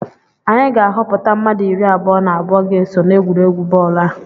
Anyị ga-ahọpụta mmadụ iri abụọ na abụọ ga-eso n'egwuregwu bọọlụ a